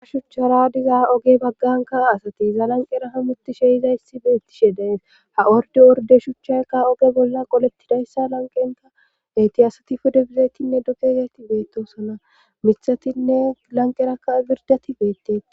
ha shuuchchara diza ooge bagganka asati iza lanqera haamutishe yizayssi beettishe de'ees ha ordi orde shuchchayka ooge bolla qolettidayssa lanqenka eyti asati pudde bizaytinne duge yizayti beettosona miiththatinne lanqerakka birdati beettetes